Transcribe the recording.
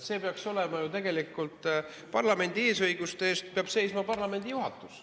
See peaks ju tegelikult olema nii, et parlamendi eesõiguste eest seisab parlamendi juhatus.